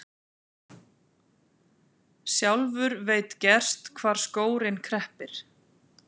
Sjálfur veit gerst hvar skórinn kreppir.